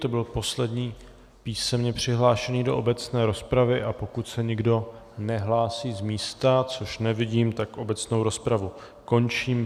To byl poslední písemně přihlášený do obecné rozpravy, a pokud se nikdo nehlásí z místa, což nevidím, tak obecnou rozpravu končím.